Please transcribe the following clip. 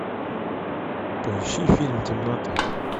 поищи фильм темнота